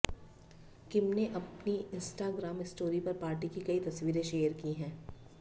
किम ने अपनी Instagram story पर पार्टी की कई तस्वीरें शेयर की हैं